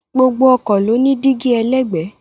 Gbogbo ọkọ̀ ló ní dígí ẹlẹ́gbẹ̀ẹ́